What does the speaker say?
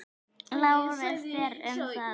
LÁRUS: Þér um það.